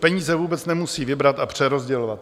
Peníze vůbec nemusí vybrat a přerozdělovat.